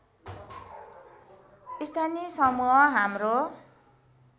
स्थानीय समूह हाम्रो